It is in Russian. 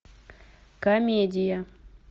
комедия